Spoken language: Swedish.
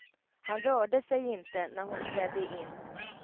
Han rörde sig inte när hon trädde in.